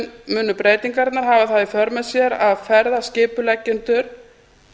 munu breytingarnar hafa það í för með sér að ferðaskipuleggjendur